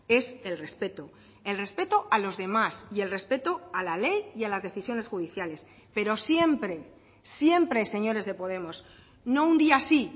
es el respeto el respeto a los demás y el respeto a la ley y a las decisiones judiciales pero siempre siempre señores de podemos no un día sí